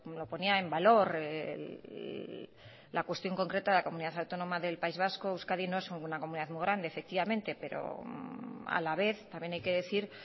lo ponía en valor la cuestión concreta de la comunidad autónomas del país vasco euskadi no es una comunidad muy grande efectivamente pero a la vez también hay que decir